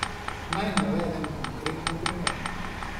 Naj navedem konkretni primer.